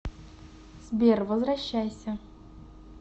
сбер возвращайся